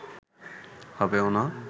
হবেও না